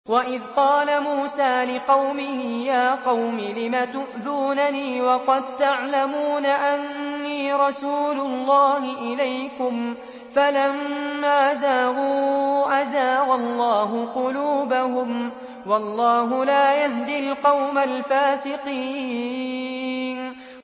وَإِذْ قَالَ مُوسَىٰ لِقَوْمِهِ يَا قَوْمِ لِمَ تُؤْذُونَنِي وَقَد تَّعْلَمُونَ أَنِّي رَسُولُ اللَّهِ إِلَيْكُمْ ۖ فَلَمَّا زَاغُوا أَزَاغَ اللَّهُ قُلُوبَهُمْ ۚ وَاللَّهُ لَا يَهْدِي الْقَوْمَ الْفَاسِقِينَ